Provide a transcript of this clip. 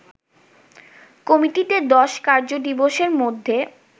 কমিটিকে ১০ কার্য দিবসের মধ্যে